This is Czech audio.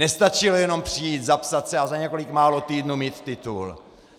Nestačilo jenom přijít, zapsat se a za několik málo týdnů mít titul.